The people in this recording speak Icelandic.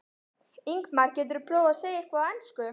Ingimar: Geturðu prófað að segja eitthvað á ensku?